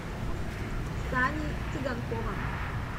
саней цыганковым